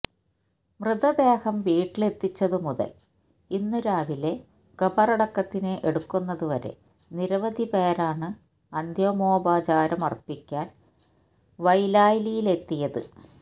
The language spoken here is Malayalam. മൃതദേഹം വീട്ടിലെത്തിച്ചതു മുതല് ഇന്ന് രാവിലെ ഖബറടക്കത്തിന് എടുക്കുന്നതുവരെ നിരവധി പേരാണ് അന്തിമോപചാരമര്പ്പിക്കാന് വൈലാലിലെത്തിയത്